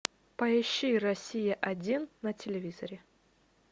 поищи россия один на телевизоре